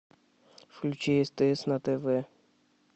включи стс на тв